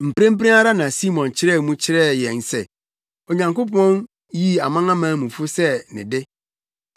Mprempren ara na Simon kyerɛɛ mu kyerɛɛ yɛn se Onyankopɔn yii amanamanmufo sɛ ne de.